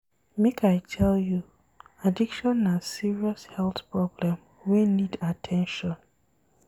Make I tell you, addiction na serious health problem wey need at ten tion.